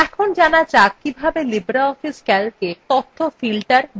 এখন জানা যাক কিভাবে libreoffice calcএ তথ্য filter বা বাছা যায়